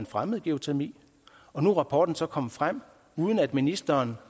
fremmede geotermi nu er rapporten så kommet frem uden at ministeren